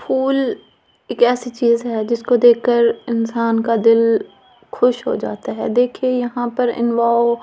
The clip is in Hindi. फूल एक ऐसी चीज है जिसको देख कर इंसान का दिल खुश हो जाता है देखिए यहां पर एंड वो --